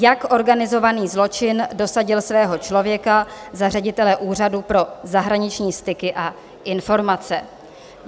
Jak organizovaný zločin dosadil svého člověka za ředitele Úřadu pro zahraniční styky a informace.